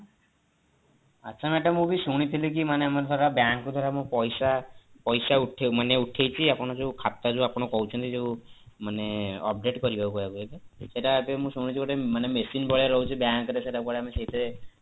ଆଚ୍ଛା madam ମୁଁ ବି ଶୁଣିଥିଲି କି ମାନେ ଧର bank କୁ ଧର ମୁଁ ପଇସା ପଇସା ମନେ ଉଠେଇବି ଆପଣ ଯୋଉ ଖାତା ଯୋଉ ଆପଣ କହୁଛନ୍ତି ଯୋଉ ମାନେ update କରିବାକୁ କହିବେ କି ସେଇଟା ଏବେ ମୁଁ ଶୁଣୁଛି ଗୋଟେ machine ଭଳିକା ରହୁଛି bank ରେ ସେଇଟା କୁଆଡେ ଆମେ ସେଇଥିରେ